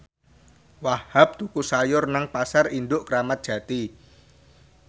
Wahhab tuku sayur nang Pasar Induk Kramat Jati